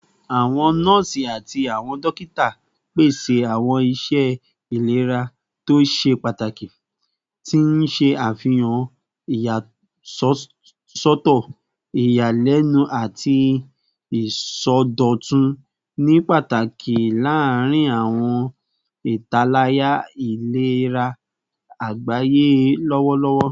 Awọn nọọsi ati awọn dokita pese awọn iṣẹ ilera to ṣe pataki, ti n ṣe afihan iyasọtọ iyalẹnu ati isọdọtun, ni pataki larin awọn italaya ilera agbaye lọwọlọwọ